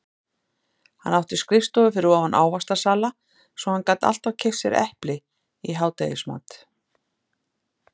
Hann átti skrifstofu fyrir ofan ávaxtasala svo hann gat alltaf keypt sér epli í hádegismat.